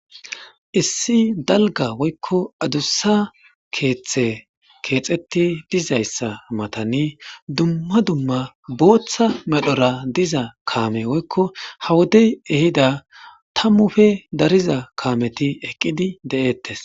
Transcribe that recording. Issi dalga woykko adussa keeththe keexetti dizayssa matani dumma dumma booththa medhora diza kaame woykko hawodey ehida tammufe dariza kaameti eqqidi de7ettes.